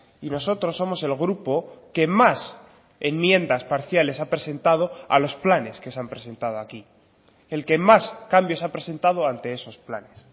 y nosotros somos el grupo que más enmiendas parciales ha presentado a los planes que se han presentado aquí el que más cambios ha presentado ante esos planes